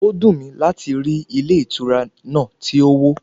Ó dùn mí láti rí ilé ìtura náà tí ó wó.